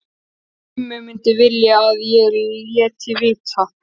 Gummi myndi vilja að ég léti vita.